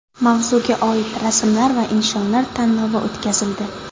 Mavzuga oid rasmlar va insholar tanlovi o‘tkazildi.